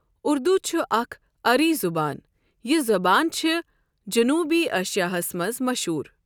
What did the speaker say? اُردُو چھُ اَكھ اری زبان۔ یہِ زبان چھ جنوبی ایشِیاہس مَنٛز مشہوٗر۔